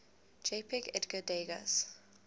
jpg edgar degas